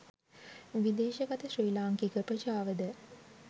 විදේශගත ශ්‍රී ලාංකික ප්‍රජාවද